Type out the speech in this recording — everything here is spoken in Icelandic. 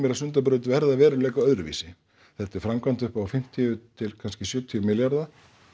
að Sundabraut verði að veruleika öðruvísi þetta er framkvæmd upp á fimmtíu til kannski sjötíu milljarða